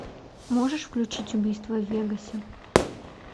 можешь включить убийство в вегасе